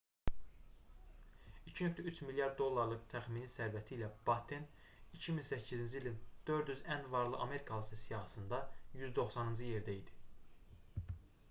2,3 milyard dollarlıq təxmini sərvəti ilə batten 2008-ci ilin 400 ən varlı amerikalısı siyahısında 190-cı yerdə idi